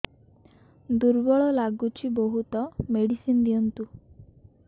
ଦୁର୍ବଳ ଲାଗୁଚି ବହୁତ ମେଡିସିନ ଦିଅନ୍ତୁ